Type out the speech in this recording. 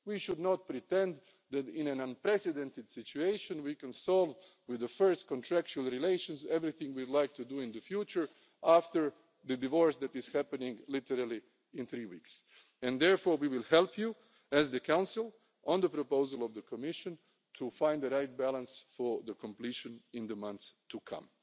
We should not pretend that in an unprecedented situation we can solve with the first contractual relations everything we'd like to do in the future, after the divorce that is happening literally in three weeks' time. Therefore we will help you, as the Council, on the proposal of the Commission, to find the right balance for completion in the months to